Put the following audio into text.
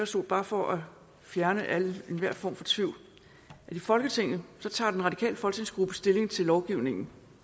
sige bare for at fjerne enhver form for tvivl at i folketinget tager den radikale folketingsgruppe stilling til lovgivningen